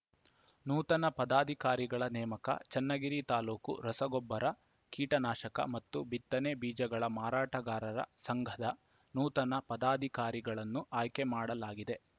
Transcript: ನೂತನ ಪದಾಧಿಕಾರಿಗಳ ನೇಮಕ ಚನ್ನಗಿರಿ ತಾಲೂಕು ರಸಗೊಬ್ಬರ ಕೀಟನಾಶಕ ಮತ್ತು ಬಿತ್ತನೆ ಬೀಜಗಳ ಮಾರಾಟಗಾರರ ಸಂಘದ ನೂತನ ಪದಾಧಿಕಾರಿಗಳನ್ನು ಆಯ್ಕೆ ಮಾಡಲಾಗಿದೆ